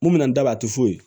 Mun bɛna n da don a tɛ foyi